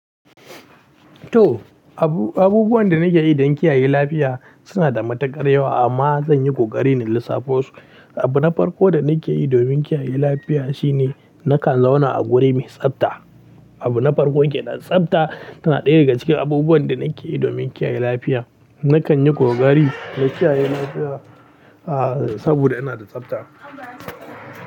To, abu-abubuwan da nake yi don kiyaye lafiya suna da matuƙar yawa amma zan yi kokari na lissafo su. Abu na farko da nake yi domin kiyaye lafiya shine nakan zauna a guri mai tsabta. Abu na farko ke nan, tsabta tana ɗaya daga cikin abubuwan da nake yi domin kiyaye lafiya. Nakan yi kokari na kiyaye lafiya, ah, saboda ina da tsabta.